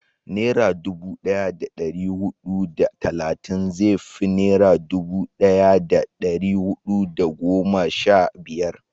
nera dubu daya da dari hudu da talatin zai fi nera dubu daya da dari hudu da goma sha biyar